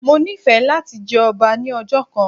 Mo nífẹ̀ẹ́ láti jẹ ọba ní ọjọ́ kan